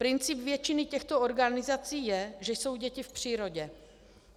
Princip většiny těchto organizací je, že jsou děti v přírodě.